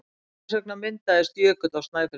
Hvers vegna myndaðist jökull á Snæfellsnesi?